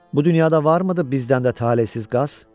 Bu dünyada varmıdı bizdən də talehsiz qaz?